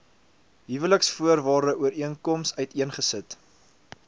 huweliksvoorwaarde ooreenkoms uiteengesit